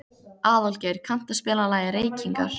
Aðalgeir, kanntu að spila lagið „Reykingar“?